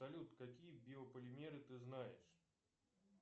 салют какие биополимеры ты знаешь